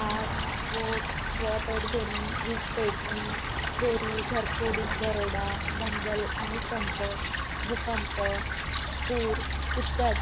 आग स्फोट जलपेट घेणे विज पेटणे चोरी घरफोडी दरोडा दंगल आणि कंप भूकंप पूर इत्यादी